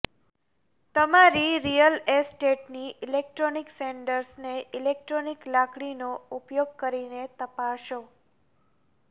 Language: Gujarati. તમારી રિયલ એસ્ટેટની ઇલેક્ટ્રોનિક સેન્ડર્સને ઇલેક્ટ્રોનિક લાકડીનો ઉપયોગ કરીને તપાસો